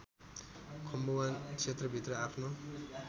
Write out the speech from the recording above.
खम्बुवान क्षेत्रभित्र आफ्नो